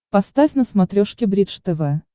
поставь на смотрешке бридж тв